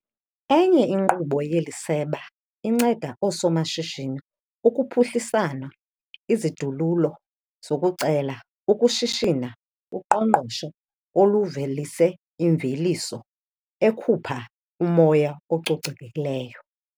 Enye inkqubo yeli seba inceda oosomashishini ukuphuhlisana izidululo zokucela ukushishina kuqoqosho oluvelise imveliso ekhupha umoya ococekileyo.